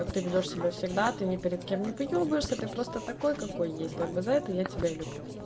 как ты ведёшь себя всегда ты ни перед кем не выёбываешься ты просто такой какой есть как бы за это я тебя и люблю